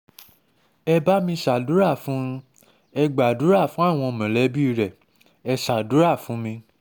ẹ bá mi ṣàdúrà fún un ẹ un ẹ gbàdúrà fáwọn mọ̀lẹ́bí ẹ̀ ẹ́ ṣàdúrà fún mi